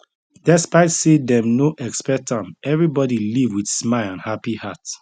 despite say dem no expect am everybody leave with smile and happy heart